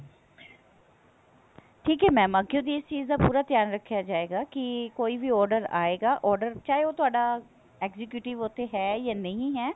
ਠੀਕ ਹੈ mam ਅੱਗਿਓ ਦੀ ਇਸ ਚੀਜ਼ ਦਾ ਪੂਰਾ ਧਿਆਨ ਰੱਖਿਆ ਜਾਏਗਾ ਕੀ ਕੋਈ ਵੀ order ਆਏਗਾ order ਚਾਹੇ ਉਹ ਤੁਹਾਡਾ executive ਉੱਥੇ ਹੈ ਜਾਂ ਨਹੀਂ ਹੈ